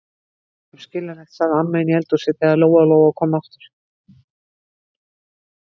Þetta er óskaplegt, sagði amma inni í eldhúsi þegar Lóa-Lóa kom aftur.